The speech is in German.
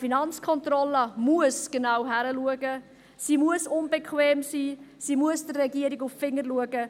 Eine FK muss genau hinschauen, sie muss unbequem sein, sie muss der Regierung auf die Finger schauen.